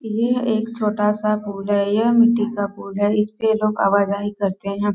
ये एक छोटा सा पूल है यह मिट्टी का पूल है इसपे लोग आवाजाही करते हैं |